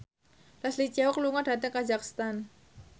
Leslie Cheung lunga dhateng kazakhstan